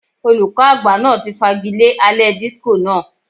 Olùkọ́ àgbà náà ti fagilé alẹ́ disco náà.